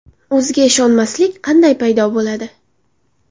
O‘ziga ishonmaslik qanday paydo bo‘ladi?